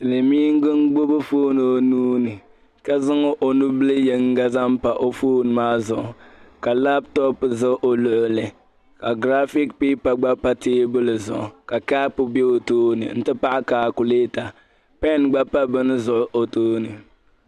silimiingi n gbubi fone o nuu ni ka zaŋ o nu'bili yiŋga zaŋ pa o fone maa zuɣu ka laptop za o luɣ'li ka graphic paper gba pa teebuli zuɣu ka kapu be o tooni nti pahi kalkuleta pen gba pa bɛn zuɣu o tooni.